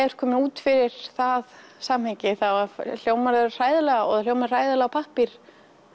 ert kominn út fyrir það samhengi þá hljómar það hræðilega og það hljómar hræðilega á pappír